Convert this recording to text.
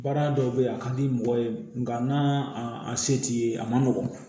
Baara dɔw bɛ ye a ka di mɔgɔ ye nka n'a se t'i ye a man nɔgɔn